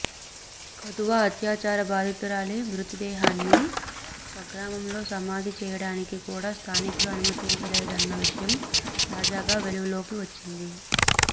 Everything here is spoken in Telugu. కథువా అత్యాచార బాధితురాలి మృత దేహాన్ని స్వగ్రామంలో సమాధి చేయడానికి కూడా స్థానికులు అనుమతించలేదన్న విషయం తాజాగా వెలుగులోకి వచ్చింది